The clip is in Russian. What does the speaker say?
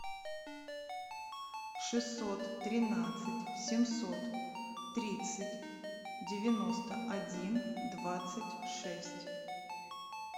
шестьсот тринадцать семьсот тридцать девяносто один двадцать шесть